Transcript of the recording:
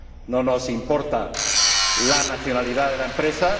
No nos importa la nacionalidad de la empresa.